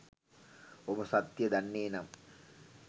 ඔබ සත්‍යය දන්නේ නම්